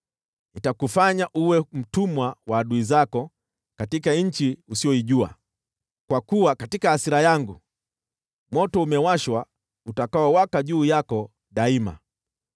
Nitakufanya uwe mtumwa wa adui zako katika nchi usiyoijua, kwa kuwa katika hasira yangu moto umewashwa utakaowaka juu yako daima.”